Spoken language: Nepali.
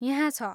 यहाँ छ।